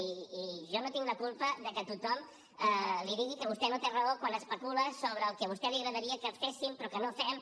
i jo no tinc la culpa de que tothom li digui que vostè no té raó quan especula sobre el que a vostè li agradaria que féssim però que no fem